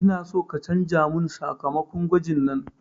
Ina so ka canza mun sakamakon gwajin nan